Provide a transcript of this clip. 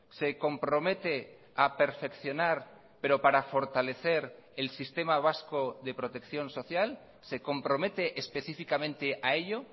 se compromete a perfeccionar pero para fortalecer el sistema vasco de protección social se compromete específicamente a ello